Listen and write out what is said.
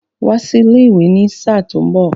Wá sí ilé ìwé ní sáà tó mbọ̀!